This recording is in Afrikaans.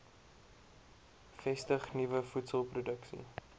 vestig nuwe voedselproduksie